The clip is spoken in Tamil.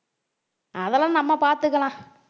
அதெல்லாம் நம்ம பாத்துக்கலாம்